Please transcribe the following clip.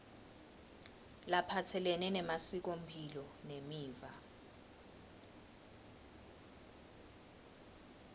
laphatselene nemasikomphilo nemiva